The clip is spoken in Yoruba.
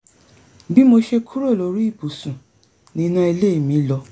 bí mo ṣe kúrò lórí ibùsù ni iná ilé mi lọ